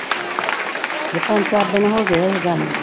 ਇਹ ਪੰਜ ਚਾਰ ਦਿਨ ਹੋ ਗਏ ਇਹ ਗੱਲ ਨੂੰ।